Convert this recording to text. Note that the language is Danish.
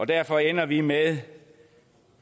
derfor ender vi med